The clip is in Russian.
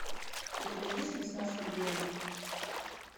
у тебя есть несносный генри